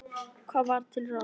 Hvað var til ráða?